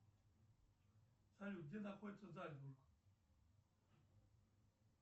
салют где находится зальцбург